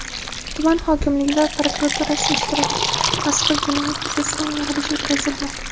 tuman hokimligi va prokuraturasi ishtirokida mazkur jinoyat yuzasidan yig‘ilish o‘tkazilgan.